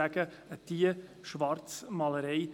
Das ist Schwarzmalerei.